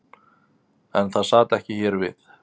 En það sat ekki hér við.